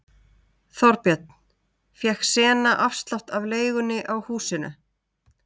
Þorbjörn: Fékk Sena afslátt af leigunni á húsinu?